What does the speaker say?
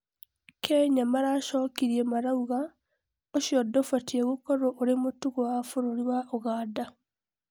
Kenya maracokirie marauga ũcio ndũbatie gũkorwo ũrĩ mũtugo wa bũrũri wa Uganda